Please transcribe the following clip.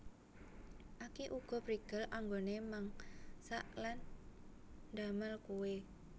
Aki uga prigel anggoné Mangsak lan ndamel kuwè